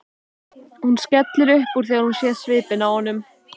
Hún skellir upp úr þegar hún sér svipinn á honum.